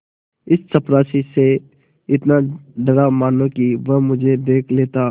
इस चपरासी से इतना डरा मानो कि वह मुझे देख लेता